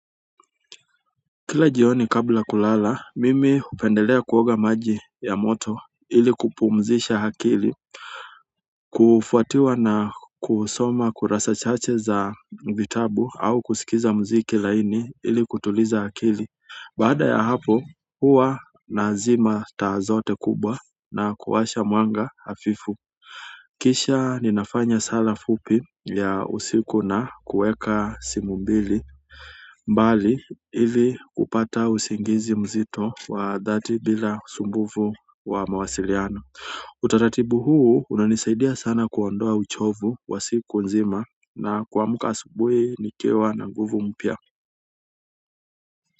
Kila jioni kabla kulala mimi hupendelea kuoga maji ya moto ili kupumzisha akili. Kufuatiwa na kusoma kurasa chache za vitabu au kusikiliza mziki laini ili kutuliza akili baada ya hapo huwa nazima taa zote kubwa na kuwasha mwanga hafifu kisha ninafanya sara fupi mbali ili kupata usingizi mzito wa dhati bila usumbufu wa mawasiliano utaratibu huu unanisaidia sana kuondoa uchovu wa siku nzima na kuamuka asubuhi nikiwa na nguvu mpya.